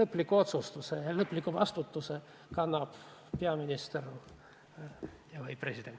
lõpliku otsuse teeb ja lõplikku vastutust kannab peaminister või president.